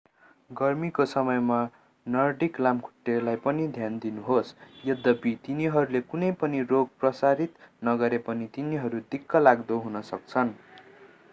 गर्मीको समयमा नर्डिक लामखुट्टेलाई पनि ध्यान दिनुहोस् यद्यपि तिनीहरूले कुनै पनि रोगहरू प्रसारित नगरे पनि तिनीहरू दिक्कलाग्दो हुन सक्छन्